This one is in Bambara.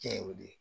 Cɛ y'o de